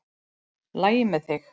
LAGI MEÐ ÞIG?